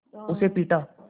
उसे पीटा